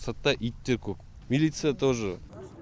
сыртта ит те көп милиция тоже